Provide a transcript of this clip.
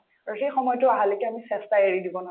আৰু সেই সময়তো আহালৈকে আমি চেষ্টা এৰি দিব